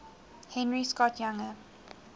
henry scott's younger